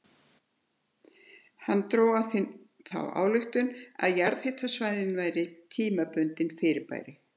Hann dró af því þá ályktun að jarðhitasvæðin væru tímabundin fyrirbæri.